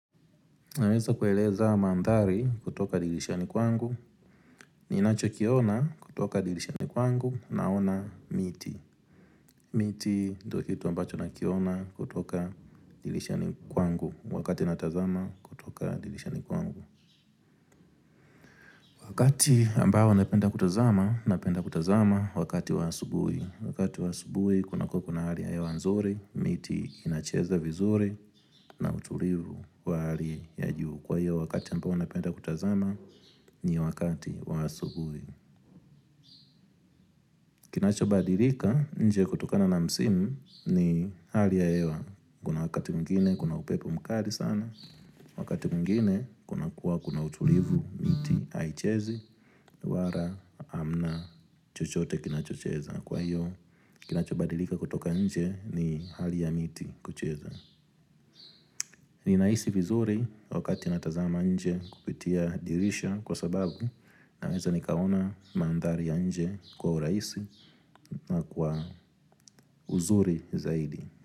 Naweza kueleza mandhari kutoka dilishani kwangu ninacho kiona kutoka dilishani kwangu naona miti miti ndokitu ambacho nakiona kutoka dilishani kwangu wakati natazama kutoka dilishani kwangu Wakati ambao napenda kutazama, napenda kutazama wakati waasubui Wakati waasubui, kunakua kuna hali ya hewanzuri, miti inacheza vizuri na utulivu wa hali ya juu Kwa hio wakati ambao napenda kutazama ni wakati wa asubuhi. Kinachobadilika nje kutokana na msimu ni hali ya hewa. Kuna wakati mwingine kuna upepo mkali sana. Wakati mwingine kuna kuwa kuna utulivu miti aichezi. Wara amna chochote kinachocheza. Kwa hio kinachobadilika kutoka nje ni hali ya miti kucheza. Ni naisi vizuri wakati natazama nje kupitia dirisha. Kwa sababu naweza nikaona mandhari ya nje kwa uraisi na kwa uzuri zaidi.